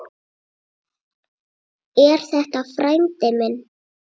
Er þetta frændi minn?